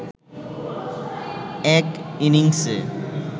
এক ইনিংসে